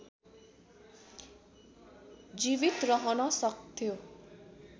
जीवित रहन सक्थ्यो